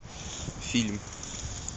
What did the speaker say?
фильм